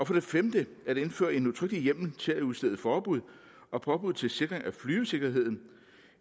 for det femte at indføre en udtrykkelig hjemmel til at udstede forbud og påbud til sikring af flyvesikkerheden